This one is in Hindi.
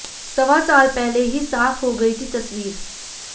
सवा साल पहले ही साफ हो गई थी तस्वीर